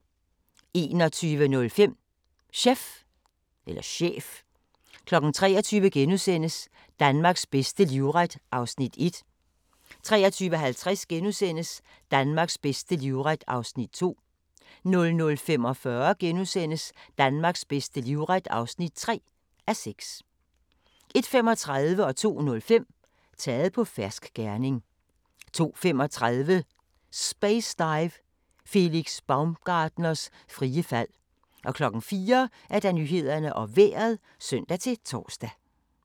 21:05: Chef 23:00: Danmarks bedste livret (1:6)* 23:50: Danmarks bedste livret (2:6)* 00:45: Danmarks bedste livret (3:6)* 01:35: Taget på fersk gerning 02:05: Taget på fersk gerning 02:35: Space Dive - Felix Baumgartners frie fald 04:00: Nyhederne og Vejret (søn-tor)